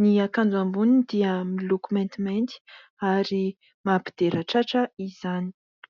ny akanjo amboniny dia miloko maintimainty ary mampidera tratra izany.